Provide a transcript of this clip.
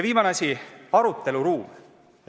Viimane asi, aruteluruum.